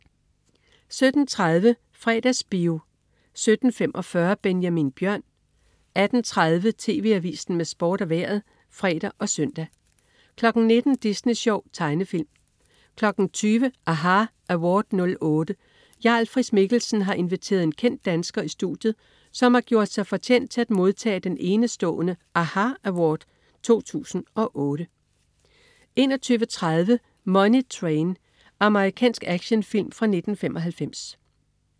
17.30 Fredagsbio 17.45 Benjamin Bjørn 18.30 TV Avisen med Sport og Vejret (fre og søn) 19.00 Disney Sjov. Tegnefilm 20.00 aHA Award '08. Jarl Friis-Mikkelsen har inviteret en kendt dansker i studiet, som har gjort sig fortjent til at modtage den enestående aHA! Award '08 21.30 Money Train. Amerikansk actionfilm fra 1995